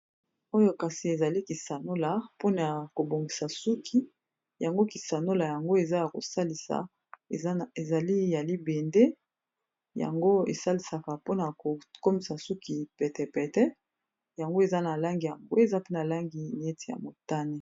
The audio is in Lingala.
oyo kasi ezali kisanola pona kobongisa suki yango kisanola yango eza ya kosalisa ezali ya libende yango esalisaka pona kokomisa suki petepete yango eza na langi yambwe eza pona langi nieti ya motane